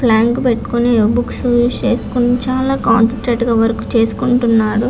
Planck పెట్టుకొని books పెట్టుకొని చాల కాన్సన్ట్రేటెడ్ గ వర్క్ చేసుకుంటున్నాడు.